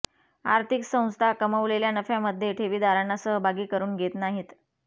आर्थिक संस्था कमवलेल्या नफ्यामध्ये ठेवीदारांना सहभागी करून घेत नाहीत